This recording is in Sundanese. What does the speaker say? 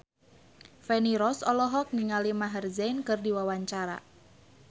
Feni Rose olohok ningali Maher Zein keur diwawancara